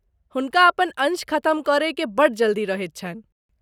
हुनका अपन अंश खतम करयकेँ बड़ जल्दी रहैत छन्हि।